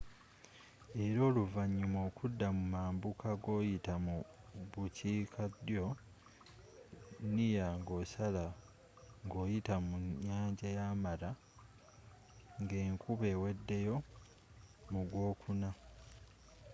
era oluvanyuma okudda mu mambuka ngoyita mu bukiika ddyo near ngosala ngoyita mu nnyanja ya mara ngenkuba eweddeyo mu gwokuna